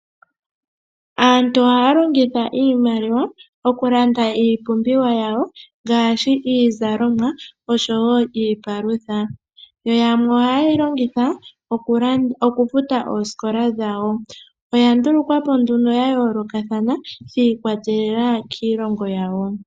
Aantu ohaa longitha iimaliwa okulanda iipumbiwa yawo ngaashi iizalomwa oshowo iipalutha. Yoyamwe ohaye yilongitha okula ,okufuta oosikola dhawo, oya ndulukwapo nduno yayo lokathana shikwatelela kiilongo yawo.